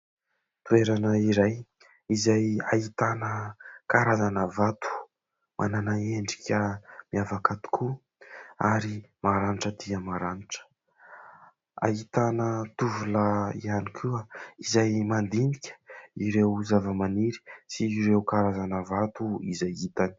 Toerana iray izay ahitana karazana vato, manana endrika miavaka tokoa ary maranitra dia maranitra. Ahitana tovolahy ihany koa izay mandinika ireo zavamaniry sy ireo karazana vato izay hitany.